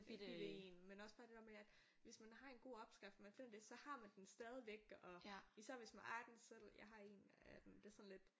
Bitte én men også bare det der med at hvis man har en god opskrift man finder det så har man den stadigvæk og især hvis man ejer den selv jeg har en af den det sådan lidt